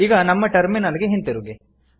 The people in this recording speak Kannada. ಈಗ ನಮ್ಮ ಟರ್ಮಿನಲ್ ಗೆ ಹಿಂತಿರುಗಿ